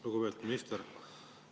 Lugupeetud minister!